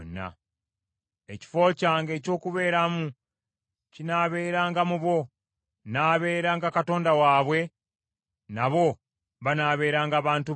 Ekifo kyange eky’okubeeramu kinaabeeranga mu bo. Nnaabeeranga Katonda waabwe nabo banaabeeranga bantu bange.